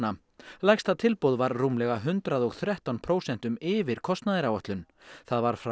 lægsta tilboð var rúmlega hundrað og þrettán prósentum yfir kostnaðaráætlun það var frá